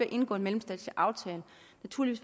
indgå en mellemstatslig aftale